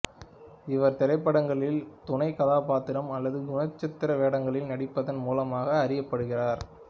இவர் திரைப்படங்களில் துணை கதாபாத்திரம் அல்லது குணசித்திர வேடங்களில் நடிப்பதின் மூலமாக அறியப்படுகிறார்